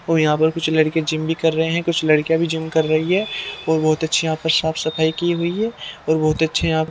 यहां पर कुछ लड़के जिम भी कर रहे हैं कुछ लड़कियां भी जिम कर रही है और बहोत अच्छी यहां पर साफ सफाई की हुई है और बहोत अच्छे यहां --